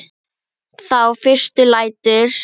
Þá fyrst lætur